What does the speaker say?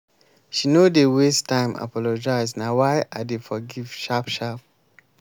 she no dey waste time apologize na why i dey forgive sharp sharp.